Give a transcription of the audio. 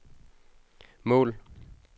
mål